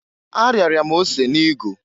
Ariara m ose n'igu.